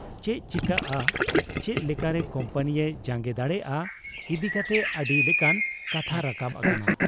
ᱪᱮᱫ ᱪᱤᱠᱟᱹᱜ ᱟ, ᱪᱮᱫ ᱞᱮᱠᱟᱨᱮ ᱠᱩᱢᱯᱟᱹᱱᱤᱭᱮ ᱡᱟᱝᱜᱮ ᱫᱟᱲᱮᱭᱟᱜ ᱟ ᱤᱫᱤ ᱠᱟᱛᱮ ᱟᱹᱰᱤ ᱞᱮᱠᱟᱱ ᱠᱟᱛᱷᱟ ᱨᱟᱠᱟᱵ ᱟᱠᱟᱱᱟ ᱾